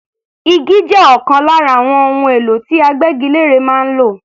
Igi jẹ́ ọ̀kan lára àwọn ohun èlò tí agbégilére máa ń lò.